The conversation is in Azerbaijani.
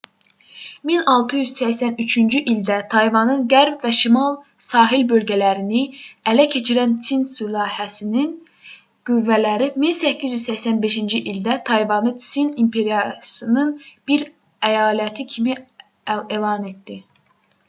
1683-cü ildə tayvanın qərb və şimal sahil bölgələrini ələ keçirən tsin sülaləsinin 1644-1912 qüvvələri 1885-ci ildə tayvanı tsin i̇mperiyasının bir əyaləti kimi elan etdi